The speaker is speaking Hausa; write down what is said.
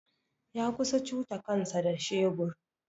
Ya kusa cuta kansa da shebur.